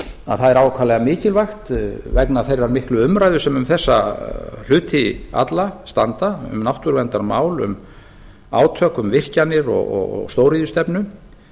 að það er ákaflega mikilvægt vegna þeirrar miklu umræðu sem um þessa hluti alla standa um náttúruverndarmál um átök um virkjanir og stóriðjustefnu